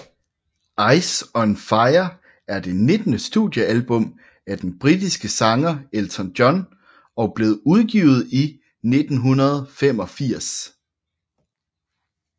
Ice on Fire er det nittende studiealbum af den britiske sanger Elton John og blev udgivet i 1985